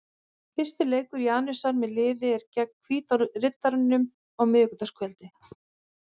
Fyrsti leikur Janusar með liðið er gegn Hvíta Riddaranum á miðvikudagskvöld.